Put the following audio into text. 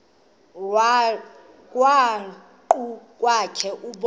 krwaqu kwakhe ubone